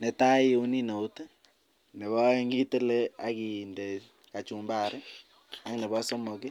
Netai iuni nout ,Nebo aeng tile akinde kachumbari ak nebo somok